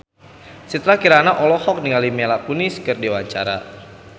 Citra Kirana olohok ningali Mila Kunis keur diwawancara